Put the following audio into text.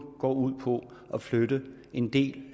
går ud på at flytte en del